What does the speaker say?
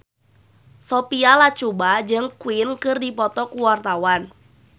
Sophia Latjuba jeung Queen keur dipoto ku wartawan